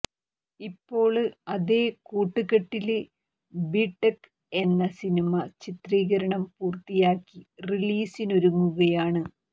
ഇപ്പോള് അതേ കൂട്ടുകെട്ടില് ബിടെക് എന്ന സിനിമ ചിത്രീകരണം പൂര്ത്തിയാക്കി റിലീസിനൊരുങ്ങുകയാണ്